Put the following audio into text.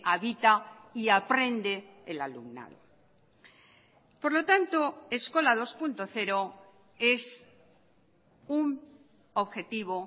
habita y aprende el alumnado por lo tanto eskola dos punto cero es un objetivo